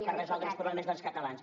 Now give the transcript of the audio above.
per resoldre els problemes dels catalans